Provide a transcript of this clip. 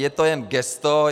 Je to jen gesto.